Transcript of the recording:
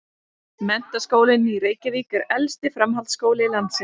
Menntaskólinn í Reykjavík er elsti framhaldsskóli landsins.